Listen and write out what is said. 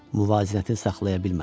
Müvazinəti saxlaya bilmədi.